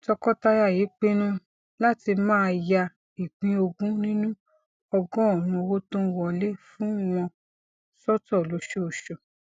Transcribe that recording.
tọkọtaya yìí pinnu láti máa ya ìpín ogún nínú ọgórùnún owó tó ń wọlé fún wọn sótò lóṣooṣù